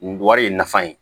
N wari ye nafa ye